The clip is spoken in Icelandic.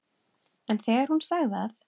En þegar hún sagði að